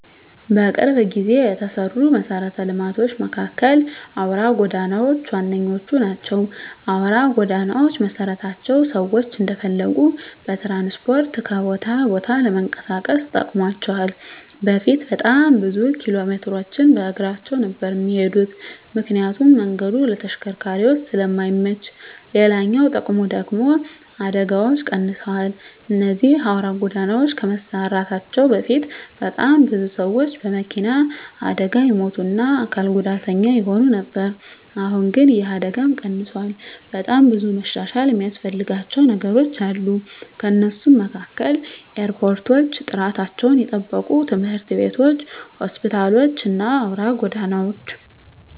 በቅርብ ጊዜ የተሰሩ መሰረተ ልማቶች መካከል አውራ ጎዳናዎች ዋነኞቹ ናቸው። አውራ ጎዳናዎች መሰራታቸው ሰዎች እንደፈለጉ በትራንስፖርት ከቦታ ቦታ ለመንቀሳቀስ ጠቅሟቸዋል በፊት በጣም ብዙ ኪሎሜትሮችን በእግራቸው ነበር እሚሄዱት ምክንያቱም መንገዱ ለተሽከርካሪዎች ስለማይመች፤ ሌላኛው ጥቅሙ ደግሙ ደግሞ አደጋዎች ቀንሰዋል እነዚህ አውራ ጎዳናዎች ከመሰራታቸው በፊት በጣም ብዙ ሰዎች በመኪና አደጋ ይሞቱ እና አካል ጉዳተኛ ይሆኑ ነበር አሁን ግን ይህ አደጋም ቀንሷል። በጣም ብዙ መሻሻል እሚያስፈልጋቸው ነገሮች አሉ ከነሱም መካከል ኤርፖርቶች፣ ጥራታቸውን የጠበቁ ትምህርት ቤቶች፣ ሆስፒታሎች እና አውራ ጎዳናዎች።